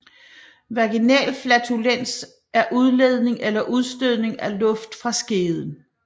Vaginal flatulens er udledning eller udstødning af luft fra skeden